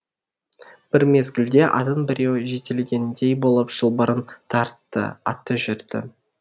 бір мезгілде атын біреу жетелегендей болып шылбырын тартты аты жүрді